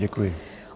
Děkuji.